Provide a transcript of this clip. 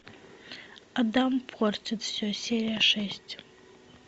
адам портит все серия шесть